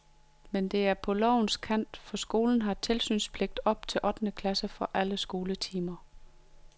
Men det er på lovens kant, for skolen har tilsynspligt op til ottende klasse i alle skoletimer.